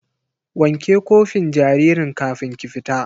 Wanke kofin jaririn kafin ki fita!